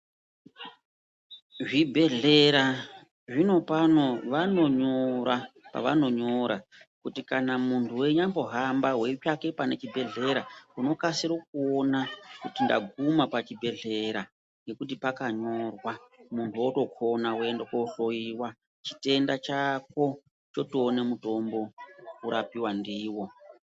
Zvibhehlera zvinopano vanonyora pavanonyora kuti kana munhu weinyambohamba weitsvaka panechibhehlera unokasira kuona kuti ndaguma pachibhehlera ngekuti pakanyorwa muntu wotokoona woenda koohloyiwa chitenda chako chotoona mutombo wotorapiwa ndiwoo